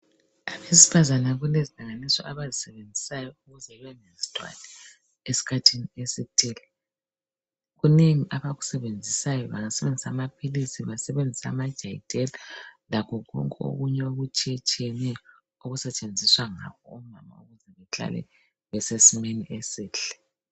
Abesifazana kulezincediso abazisebenzisayo ukuze bangazithwali esikhathini esithile. Kunengi abakusebenzisayo bangasebenzisa amaphilisi, basebenzise amajadela lakho konke okunye okutshiyetshiyeneyo okusetshenziswa ngabomama ukuze behlale besesimeni esihle.